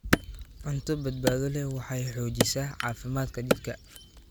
Cunto badbaado leh waxay xoojisaa caafimaadka jidhka.